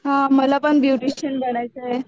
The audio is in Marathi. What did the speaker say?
हा मला पण ब्युटिशिअन बनायच आहे